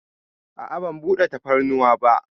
A'a, ban daɗa tafarnuwa ba.